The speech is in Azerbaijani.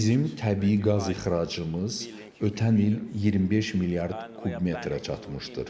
Bizim təbii qaz ixracımız ötən il 25 milyard kub metrə çatmışdır.